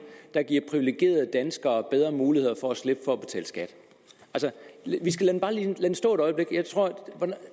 der giver privilegerede danskere bedre muligheder for at slippe for at betale skat vi skal bare lige lade den stå et øjeblik jeg tror